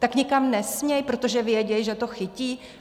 Tak nikam nesmí, protože vědí, že to chytí?